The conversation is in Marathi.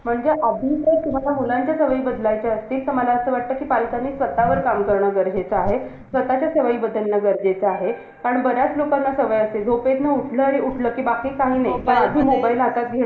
असं बोलतात बोलणारे बोलतात जे लोकं वर्षानुवर्ष अभ्यास करतात त्यांना stuff नाही जाणार.